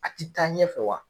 A ti taa ɲɛfɛ wa.